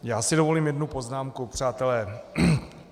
Já si dovolím jednu poznámku, přátelé.